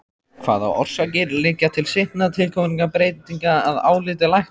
Hvaða orsakir liggja til seinna tilkominna breytinga að áliti læknaráðs?